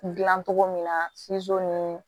Dilan cogo min na ni